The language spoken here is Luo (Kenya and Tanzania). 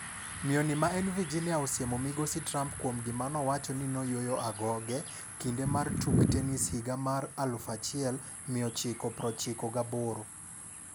Miyo ni ma en Virginia osiemo migosi Trump kuom gima nowacho ni noyuoyo agoge, kinde mar tuk tennis higa mar 1998.